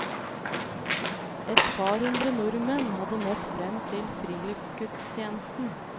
Et par hundre nordmenn hadde møtt frem til friluftsgudstjenesten.